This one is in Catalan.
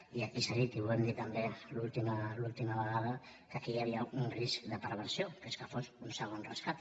i aquí s’ha dit i ho vam dir també l’última vegada que aquí hi havia un risc de perversió que és que fos un segon rescat